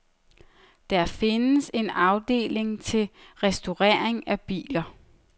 Der findes en afdeling til restaurering af biler.